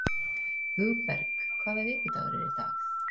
Hugberg, hvaða vikudagur er í dag?